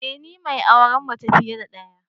Ee ni mai auren mace fiye da daya